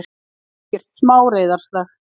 Ekkert smá reiðarslag!